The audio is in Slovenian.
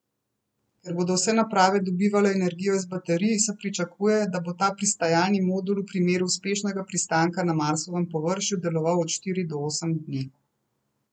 Ker bodo vse naprave dobivale energijo iz baterij, se pričakuje, da bo ta pristajalni modul v primeru uspešnega pristanka na Marsovem površju deloval od štiri do osem dni.